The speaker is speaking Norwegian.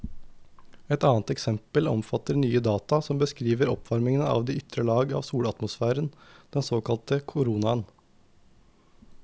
Et annet eksempel omfatter nye data som beskriver oppvarmingen av de ytre lag av solatmosfæren, den såkalte koronaen.